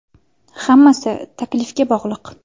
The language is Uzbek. Hammasi taklifga bog‘liq.